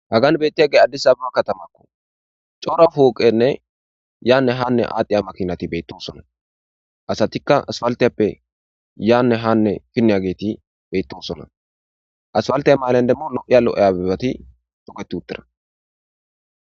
Hagan beettiyage addis abama katama cora pooqeynne yaanne haanne aadhiya makinati beettoosona. Asatikka asfaltiyappe yaanne haanne finniyageeti beettosona. Asfalttiya maylen demmo lo'iya lo'iya abebati toketti uttira.